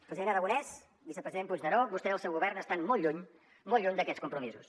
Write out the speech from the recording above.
president aragonès vicepresident puigneró vostès i el seu govern estan molt lluny molt lluny d’aquests compromisos